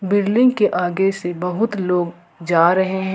building के आगे से बहुत लोग जा रहे--